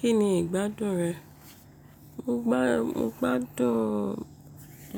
Kí ni ìgbádùn rẹ? Mo gbádùn